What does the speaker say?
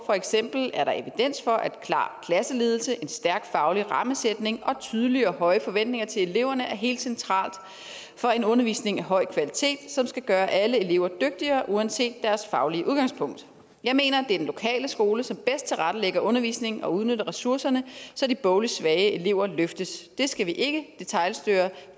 eksempel er der evidens for at klar klasseledelse en stærk faglig rammesætning og tydelige og høje forventninger til eleverne er helt centralt for en undervisning af høj kvalitet som skal gøre alle elever dygtigere uanset deres faglige udgangspunkt jeg mener at det er den lokale skole som bedst tilrettelægger undervisningen og udnytter ressourcerne så de bogligt svage elever løftes det skal vi ikke detailstyre